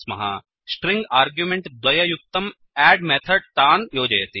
string argument द्वययुक्तम् add method तान् योजयति